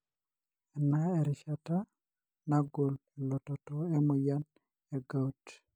ena erishata nangol elototo emoyian egout.